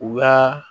U ka